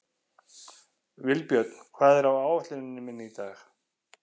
Vilbjörn, hvað er á áætluninni minni í dag?